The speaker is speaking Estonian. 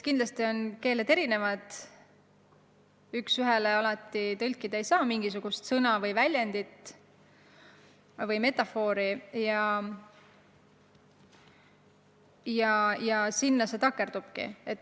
Keeled on erinevad, üks ühele mingisugust sõna või väljendit või metafoori tõlkida ei saa ja sinna see takerdubki.